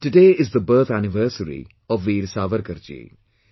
Today is the birth anniversary of Veer Savarkarji